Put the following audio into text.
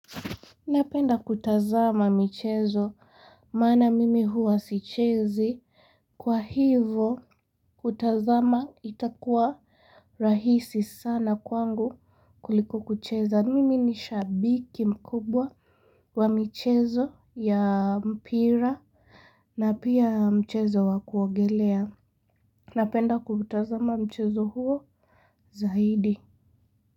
Napenda kutazama mchezo, maana mimi huwa sichezi, kwa hivyo kutazama itakuwa rahisi sana kwangu kuliko kucheza, mimi ni shabiki mkubwa wa mchezo ya mpira na pia mchezo wakuogelea, napenda kutazama mchezo huo zaidi.